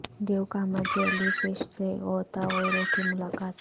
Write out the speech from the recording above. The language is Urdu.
دیو قامت جیلی فش سے غوطہ خوروں کی ملاقات